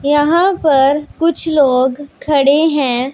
यहां पर कुछ लोग खड़े हैं।